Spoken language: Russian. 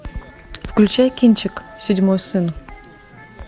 включай кинчик седьмой сын